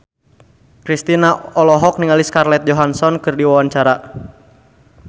Kristina olohok ningali Scarlett Johansson keur diwawancara